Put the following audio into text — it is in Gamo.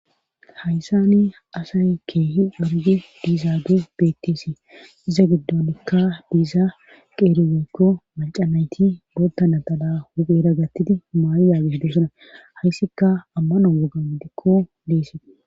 hayssani asay keehi worgi diizaage beetteesi iza giddolikka diia qeeri woykko maca nayti bootta natala hupheera gattidi maayyagis dusuna hayssikka ammano woga wogan deese